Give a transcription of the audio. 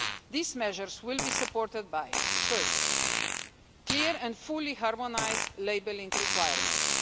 These measures will be supported by first, clear and fully harmonised labelling requirements